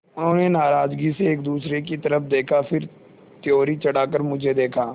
उन्होंने नाराज़गी से एक दूसरे की तरफ़ देखा फिर त्योरी चढ़ाकर मुझे देखा